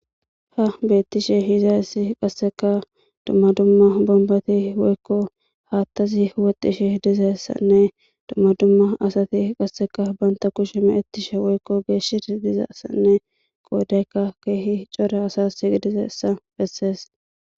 Ha beettishe hizayssi qasseka dumma dumma bombati woykko haattazi huwoxishe dizessanne dumma dumma asati qasseka banta kushe meettishe woykko geeshidi dizaessanne qoodayka keehi cora asas gidizeessa bessees.